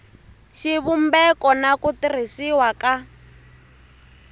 xivumbeko na ku tirhisiwa ka